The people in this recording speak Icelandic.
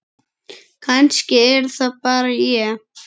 Kannski er það bara ég?